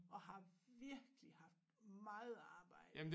Og har virkelig haft meget arbejde